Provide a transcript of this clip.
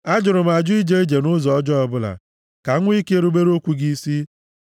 Ajụrụ m ajụ ije ije nʼụzọ ọjọọ ọbụla ka m nwee ike rubere okwu gị isi